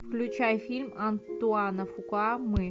включай фильм антуана фукуа мы